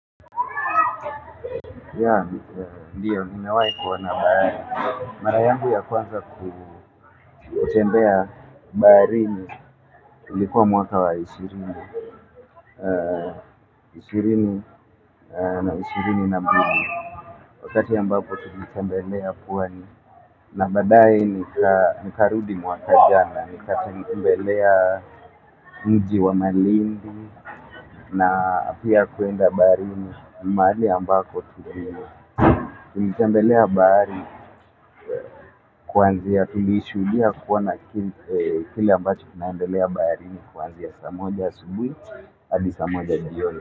Ya, ndiyo, nimewai kuona na bahari. Mara yangu ya kwanza kutembea baharini, ilikuwa mwaka wa ishirini, ishirini na ishirini na mbili. Wakati ambapo tulitembelea pwani, na badaye nikarudi mwaka jana, nikatembelea mji wa malindi, na pia kuenda baharini, mahali ambako tulitembelea. Bahari kuanzia tulishuhudia kuona kile ambacho kinaendelea baharini kuanzia saa moja asubui hadi saa moja jioni.